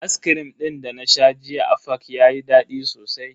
Ascrim din dana sha jiya a fak yayi dadi sosai.